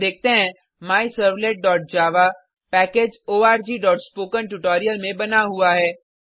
हम देखते हैं myservletजावा पैकेज orgस्पोकेंट्यूटोरियल में बना हुआ है